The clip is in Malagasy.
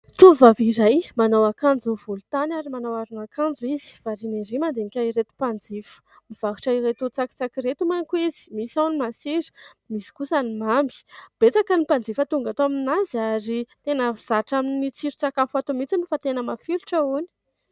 Tovovavy iray manao akanjo volotany ary manao aron' akanjo izy. Variana ery mandinika ireto mpanjifa. Mivarotra ireto tsakitsaky ireto manko izy : misy ao ny masira, misy kosa ny mamy. Betsaka ny mpanjifa tonga ato aminazy ary tena zatra amin' ny tsiron-tsakafo ato mihintsy fa tena mafilotra hony.